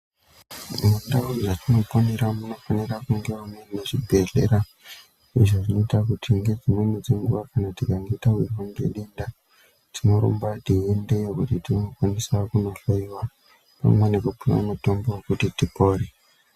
Tine ndau yatinoponera munofanira kunge womuine kuzvibhedhlera izvo zvinoita kuti ngedzimweni dzenguwa kana tikange tawirwa ngedenda tinorumba teiendeyo kuti tinokwanisa kuhloiwa pamwe nekupuwa mutombo wekuti tipore.